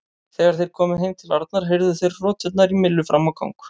Þegar þeir komu heim til Arnar heyrðu þeir hroturnar í Millu fram á gang.